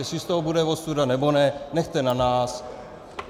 Jestli z toho bude ostuda, nebo ne, nechte na nás.